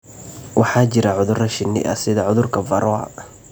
Waxaa jira cudurro shinni ah sida cudurka Varroa.